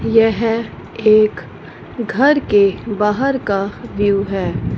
यह एक घर के बाहर का व्यू है।